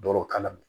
Doro kala